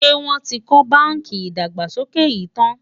ṣé wón tí kò bánkì ìdàgbàsókè yín tán?